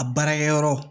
A baarakɛyɔrɔ